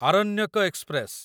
Aranyak express